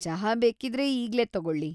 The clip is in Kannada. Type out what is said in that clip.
ಚಹಾ ಬೇಕಿದ್ರೆ ಈಗ್ಲೇ ತಗೊಳ್ಳಿ.